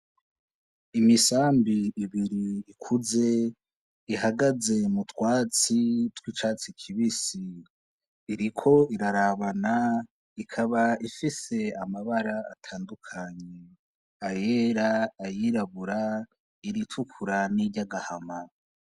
Imisambi ibiri ikuze ihagaze mu twatsi twicatsi kibisi iriko irarabana ikaba ifise amabara atandukanye ayera, ayirabura, iritukura ni ry'agahama.